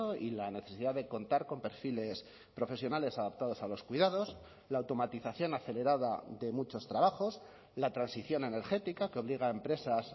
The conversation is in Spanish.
y la necesidad de contar con perfiles profesionales adaptados a los cuidados la automatización acelerada de muchos trabajos la transición energética que obliga a empresas